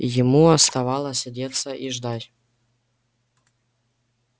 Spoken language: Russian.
ему оставалось одеться и ждать